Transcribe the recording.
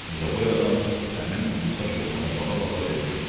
Ucaboy adam həmin uzunsaç oğlana baxa-baxa dedi: